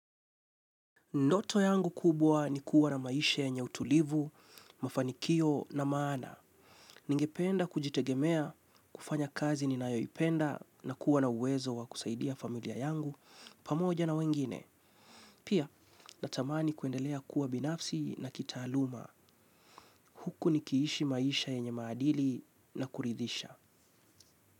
Ndoto yangu kubwa ni kuwa na maisha yenye utulivu, mafanikio na maana. Ningependa kujitegemea, kufanya kazi ninayoipenda, na kuwa na uwezo wa kusaidia familia yangu, pamoja na wengine. Pia, natamani kuendelea kuwa binafsi na kitaaluma. Huku nikiishi maisha yenye maadili na kuridhisha.